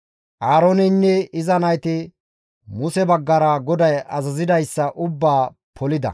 Aarooneynne iza nayti Muse baggara GODAY azazidayssa ubbaa polida.